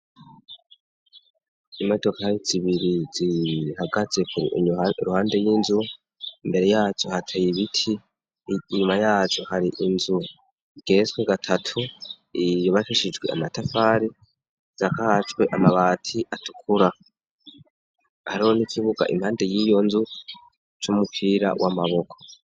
Imodoka zibiri zihagatse iruhande y'inzu, imbere yazo hateye ibiti, inyuma yazo hari inzu igeretswe gatatu, yubakishijwe amatafari, isakajwe amabati atukura, hariho n'ikibuga impande y'iyo nzu c'umupira w'amaboko.